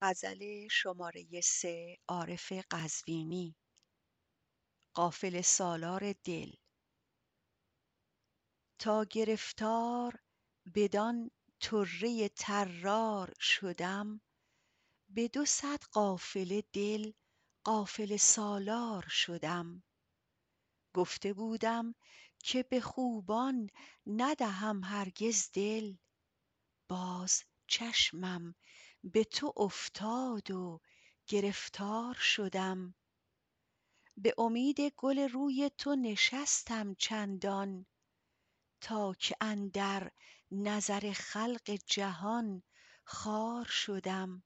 تا گرفتار بدان طره طرار شدم به دوصد قافله دل قافله سالار شدم گفته بودم که به خوبان ندهم هرگز دل باز چشمم به تو افتاد و گرفتار شدم به امید گل روی تو نشستم چندان تا که اندر نظر خلق جهان خار شدم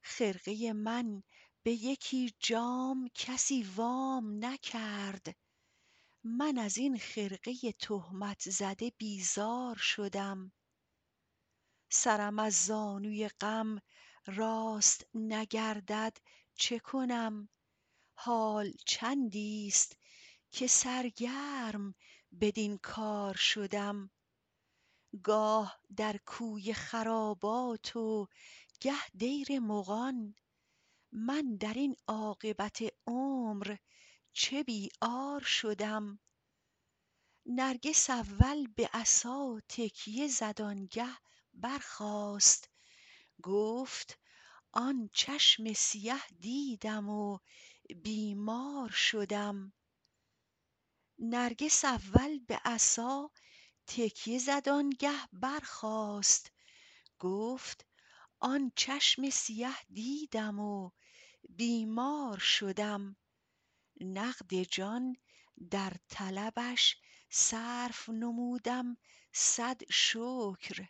خرقه من به یکی جام کسی وام نکرد من از این خرقه تهمت زده بیزار شدم سرم از زانوی غم راست نگردد چه کنم حال چندی ست که سرگرم بدین کار شدم گاه در کوی خراباتم و گه دیر مغان من در این عاقبت عمر چه بی عار شدم نرگس اول به عصا تکیه زد آنگه برخاست گفت آن چشم سیه دیدم و بیمار شدم نقد جان در طلبش صرف نمودم صد شکر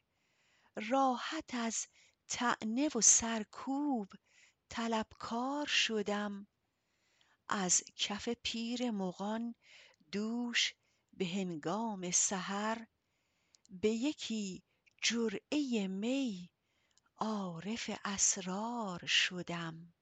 راحت از طعنه و سرکوب طلبکار شدم از کف پیر مغان دوش به هنگام سحر به یکی جرعه می عارف اسرار شدم